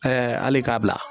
hali k'a bila